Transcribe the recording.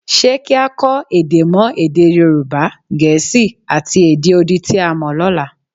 Ṣé kí á kọ́ èdè mọ́ èdè Yorùbá, Gẹ̀ẹ́sì, àti èdè odi tí a mọ lọ́la?